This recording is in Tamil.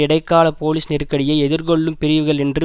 இடைக்கால போலீஸ் நெருக்கடியை எதிர்கொள்ளும் பிரிவுகள் என்று